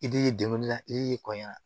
I d'i deguli la i b'i kɔɲɔ